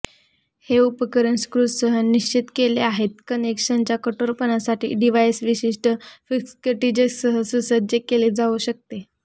हे उपकरण स्क्रूसह निश्चित केले आहेत कनेक्शनच्या कठोरपणासाठी डिव्हाइस विशिष्ट फिक्स्केटिसेजसह सुसज्ज केले जाऊ शकते